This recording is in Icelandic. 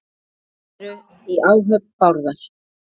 Þrír eru í áhöfn Bárðar.